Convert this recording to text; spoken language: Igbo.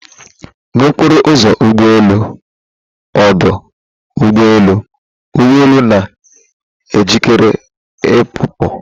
na okporo ụzọ ụgbọ elu ọdụ ụgbọ elu, ụgbọ elu na-ejikere ịpụpụ